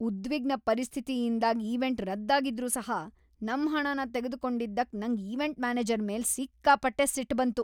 ಉದ್ವಿಗ್ನ ಪರಿಸ್ಥಿತಿಯಿಂದಾಗ್ ಈವೆಂಟ್ ರದ್ದ್ ಆಗಿದ್ರೂ ಸಹ ನಮ್ ಹಣನ ತೆಗ್ದು ಕೊಂಡಿದ್ದಕ್ ನಂಗ್ ಈವೆಂಟ್ ಮ್ಯಾನೇಜರ್ ಮೇಲೆ ಸಿಕ್ಕಾಪಟ್ಟೆ ಸಿಟ್ ಬಂತು.